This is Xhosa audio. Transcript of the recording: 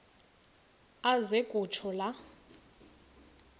aze kutsho la